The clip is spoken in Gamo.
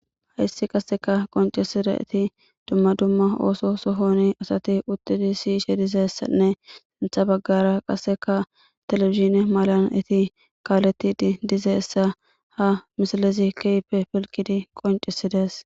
Hayssi qasseka qoncisida eti dumma dumma ooso sohoni asati uttidi siyishe dizeessanne sintha baggara qasseka telefizine malan iti kaaletid dizeessa ha misilezi keype pilkidi qoncisides